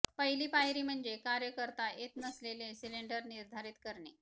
पहिली पायरी म्हणजे कार्य करता येत नसलेले सिलेंडर निर्धारित करणे